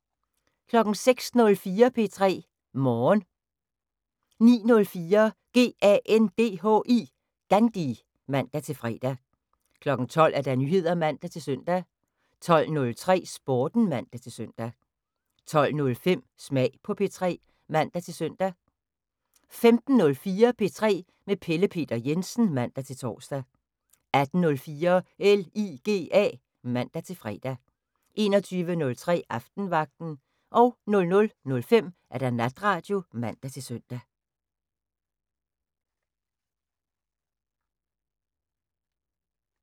06:04: P3 Morgen 09:04: GANDHI (man-fre) 12:00: Nyheder (man-søn) 12:03: Sporten (man-søn) 12:05: Smag på P3 (man-søn) 15:04: P3 med Pelle Peter Jensen (man-tor) 18:04: LIGA (man-fre) 21:03: Aftenvagten 00:05: Natradio (man-søn)